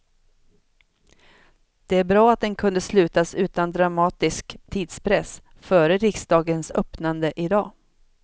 Det är bra att den kunde slutas utan dramatisk tidspress före riksdagens öppnande i dag.